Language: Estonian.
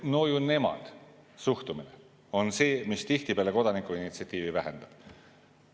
"No nemad ju" suhtumine on see, mis tihtipeale kodanikuinitsiatiivi vähendab.